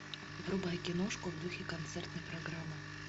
врубай киношку в духе концертной программы